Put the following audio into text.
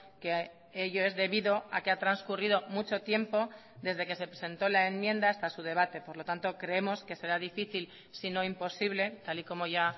que ello es debido a que ha transcurrido mucho tiempo desde que se presentó la enmienda hasta su debate por lo tanto creemos que será difícil sino imposible tal y como ya